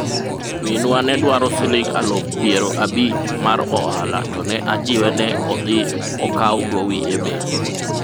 minwa ne dwaro siling' aluf piero abich mar ohala to ne ajiwe ne odhi okaw gowi e bengi